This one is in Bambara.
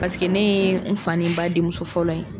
Paseke ne ye n fa ni n ba denmuso fɔlɔ ye!